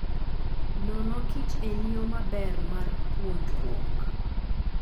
Nono kich en yo maber mar puonjruok.